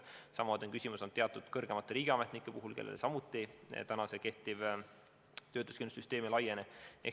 Sama küsimus on teatud kõrgemate riigiametnike puhul, kellele samuti kehtiv töötuskindlustussüsteem ei laiene.